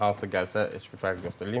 Yəni hansı gəlsə heç bir fərqi yoxdur.